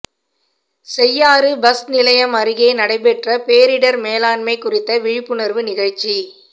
Cheyyar bus நிலையம் அருகே நடைபெற்ற பேரிடா் மேலாண்மை குறித்த விழிப்புணா்வு நிகழ்ச்சி